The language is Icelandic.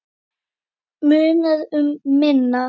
Munar um minna.